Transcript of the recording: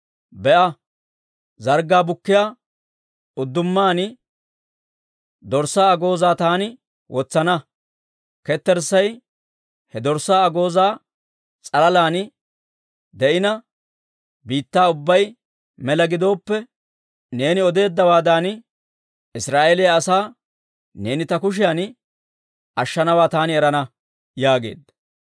be'a, zarggaa bukkiyaa uddumaan dorssaa agoozaa taani wotsana; ketterssay he dorssaa agoozaa s'alaalan de'ina, biittaa ubbay mela gidooppe, neeni odeeddawaadan, Israa'eeliyaa asaa neeni ta kushiyan ashshanawaa taani erana» yaageedda.